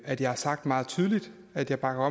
at jeg har sagt meget tydeligt at jeg bakker